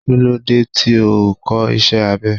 Kí ló dé tí o ò kọ́ iṣé abẹ?